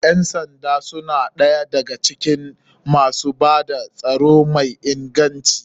Ƴan sanda suna ɗaya da ga cikin masu bada tsaro mai inganci.